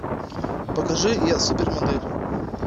покажи я супермодель